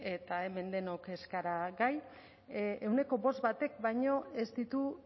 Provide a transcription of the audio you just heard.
eta hemen denok ez gara gai ehuneko bost batek baino ez ditu